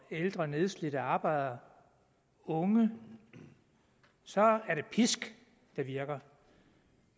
ældre nedslidte arbejdere og unge er det pisk der virker